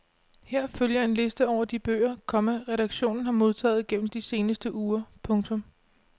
Her følger en liste over de bøger, komma redaktionen har modtaget gennem de seneste uger. punktum